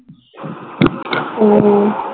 ও